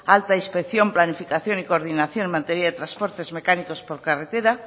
alta inspección planificación y coordinación en materia de transportes mecánicos por carretera